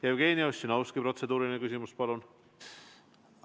Jevgeni Ossinovski, protseduuriline küsimus, palun!